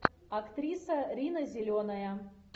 актриса рина зеленая